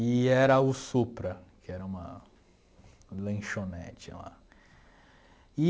E era o Supra, que era uma lanchonete lá e.